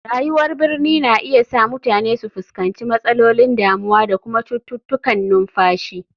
Rayuwar birni na iya sa mutane su fuskanci matsalolin damuwa da kuma cututtukan numfashi.